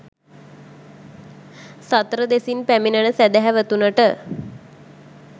සතර දෙසින් පැමිණෙන සැදැහැවතුනට